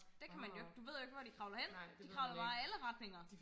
der kan man jo ikke du ved man jo ikke hvor de kravler hen de kravler bare i alle retninger